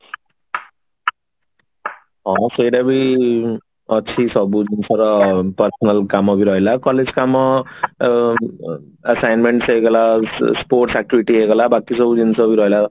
ହଁ ସେଇଟା ବି ଅଛି ସବୁ ଜିନିଷ ର personal କାମ ବି ରହିଲା collage କାମ ଅ ଅ assignments ହେଇଗଲା ସ ସ store faculty ହେଇଗଲା ବାକି ସବୁ ଜିନିଷ ବି ରହିଲା